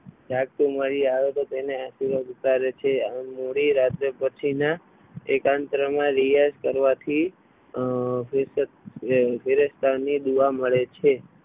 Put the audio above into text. જાગતું મળી આવે તો તેણે મોડી રાત્રે પછીના એકાંતમાં રિયાઝ કરવાથી ફરિશ્તા ની દુઆ મળે છે.